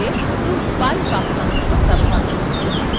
এখন এই প্রশ্নটি চালানো যাক